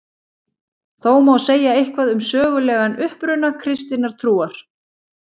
Þó má segja eitthvað um sögulegan uppruna kristinnar trúar.